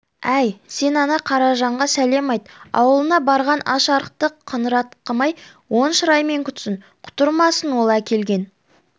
әй сен ана қаражанға сәлем айт аулына барған аш-арықты қыңратқымай оң шыраймен күтсін құтырмасын ол әкелген